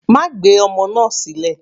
Má gbé ọmọ náà sílẹ̀.